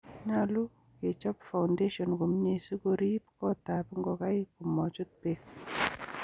nyolu kechob foundation komie sikoriib kotab ngogaik komachut beek.